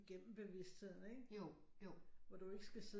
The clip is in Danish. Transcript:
Igennem bevidstheden ikke hvor du ikke skal sidde